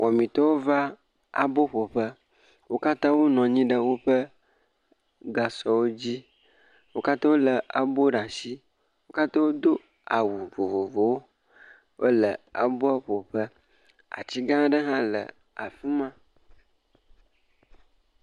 Wɔmitɔwo va aboƒoƒe. Wo katã wonɔ anyi ɖe woƒe gasɔwo dzi. Wo katã wolé abo ɖe ashi. Wo katã wodo awu vovovowo. Wole aboa ƒo ƒe. Atsigãã aɖe hã le afima.